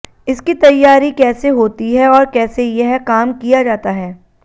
इसकी तैयारी कैसे होती है और कैसे यह काम किया जाता है